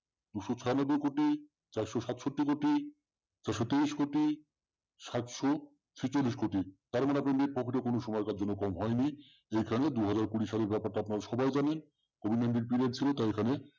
দু স ছইয়ানব্বই কোটি চরাস সাথ সত্তি কোটি ছয়শ তিরিস কোটি সাথ স ছিছলিস কোটি তাহলে net profit কোন সময়ের জন্য কম হয়নি যেখানে দুই হাজার কুড়ি সালের ব্যাপারটা আপনারা সবাই জানেন করুনার টাই এয় খানে